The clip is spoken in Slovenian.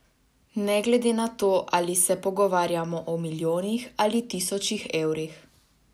Ne glede na to, ali se pogovarjamo o milijonih ali tisočih evrih.